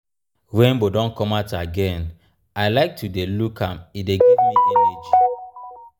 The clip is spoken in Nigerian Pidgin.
rainbow don come out again i like to dey look am e dey give me energy.